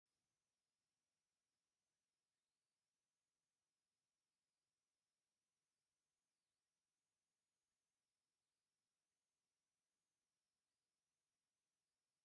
ኣብ ትግራይ ካብ ዝካየዱ ባህላዊ ናይ መርዓ ስነ ስርዓታት እቲ ሓደ ብጥልፍን ብዙርያን ዝካየድ እንትኸውን እዚ ናይ ካባ ዓይነት ናይ ባህሊ ትግራይ ኣይኾነን።